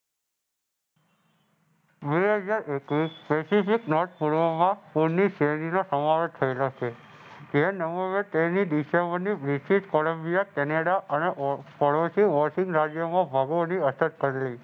બે હજાર એકવીસ થયેલા છે. ડિસએમ્બેરની બ્રિટિશ કોલંબિયા કેનેડા અને પાડોશી વોશિંગ રાજ્યોમાં અસર કરી